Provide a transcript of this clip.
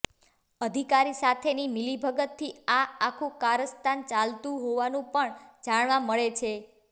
અધિકારી સાથેની મિલીભગતથી આ આખુ કારસ્તાન ચાલતુ હોવાનુ પણ જાણવા મળે છે